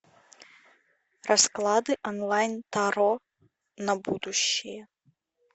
расклады онлайн таро на будущее